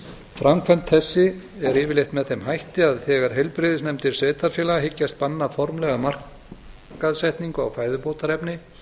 framkvæmd þessi er yfirleitt með þeim hætti að þegar heilbrigðisnefndir sveitarfélaga hyggjast banna formlega markaðssetningu á fæðubótarefni